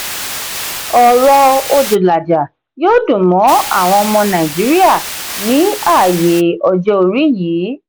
ọ̀rọ̀ odulaja yóò dùn mọ́ àwọn ọmọ nàìjíríà ní ààyè ọjọ́ orí yìí.